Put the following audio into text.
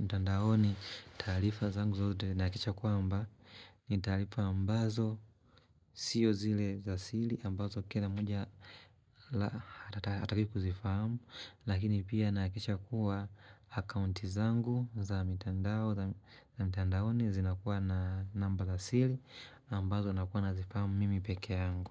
mtandaoni taarifa zangu zote nahakisha kwamba. Ni talifa ambazo, siyo zile za sili ambazo kila moja atake kuzifahamu. Lakini pia nahakisha kuwa akaunti zangu za mitandaoni zinakuwa na namba za simu ambazo nakuwa nazifahamu mimi peke yangu.